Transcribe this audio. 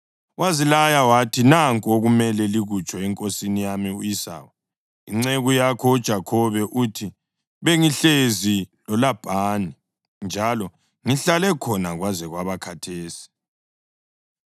Wazilaya wathi, “Nanku okumele likutsho enkosini yami u-Esawu, ‘Inceku yakho uJakhobe uthi bengihlezi loLabhani njalo ngihlale khona kwaze kwaba khathesi.